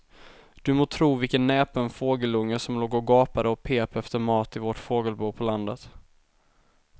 Du må tro vilken näpen fågelunge som låg och gapade och pep efter mat i vårt fågelbo på landet.